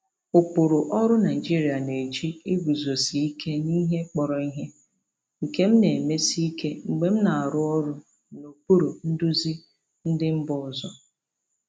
Ụkpụrụ ọrụ Naijiria na-eji iguzosi ike n'ihe kpọrọ ihe, nke m na-emesi ike mgbe m na-arụ ọrụ n'okpuru nduzi ndị mba ọzọ.